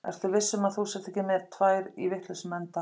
Ertu viss um að þú sért ekki með þær í vitlausum enda?